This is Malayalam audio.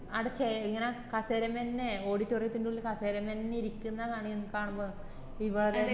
ആട ചെ ഇങ്ങനെ കസേരമേന്നെ auditorium ന്റുള്ളിൽ കസേരമേന്നെ കാണി ഇരിക്കുന്നെ കാണുമ്പോ ഇത്പോ